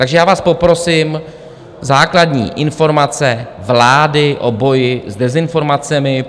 Takže já vás poprosím, základní informace vlády o boji s dezinformacemi.